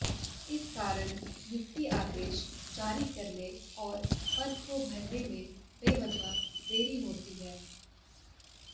इस कारण नियुक्ति आदेश जारी करने और पद को भरने में बेवजह देरी होती है